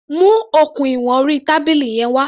Mu okùn ìwọn orí tábìlì yẹn wá.